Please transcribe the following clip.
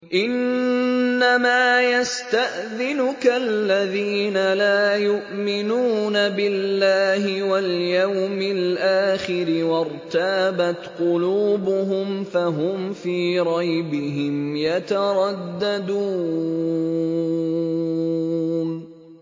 إِنَّمَا يَسْتَأْذِنُكَ الَّذِينَ لَا يُؤْمِنُونَ بِاللَّهِ وَالْيَوْمِ الْآخِرِ وَارْتَابَتْ قُلُوبُهُمْ فَهُمْ فِي رَيْبِهِمْ يَتَرَدَّدُونَ